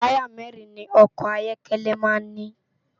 Tàyá mèrin ni òkò áyòkèlè má n ni